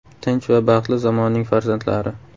Tinch va baxtli zamonning farzandlari.